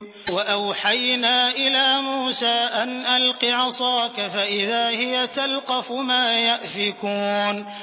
۞ وَأَوْحَيْنَا إِلَىٰ مُوسَىٰ أَنْ أَلْقِ عَصَاكَ ۖ فَإِذَا هِيَ تَلْقَفُ مَا يَأْفِكُونَ